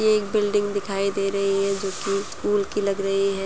ये एक बिल्डिंग दिखाई दे रही है जो की स्कूल की लग रही है।